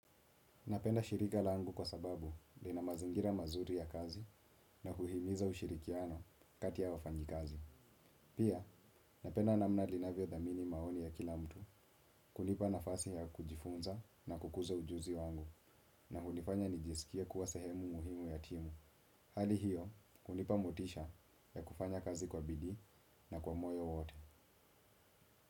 Napenda shirika langu kwa sababu lina mazingira mazuri ya kazi na kuhimiza ushirikiano kati ya wafanjikazi. Pia napenda namna linavyo dhamini maoni ya kila mtu, kunipa nafasi ya kujifunza na kukuza ujuzi wangu na hunifanya nijisikie kuwa sehemu muhimu ya timu. Hali hiyo, kunipa motisha ya kufanya kazi kwa bidii na kwa moyo wote.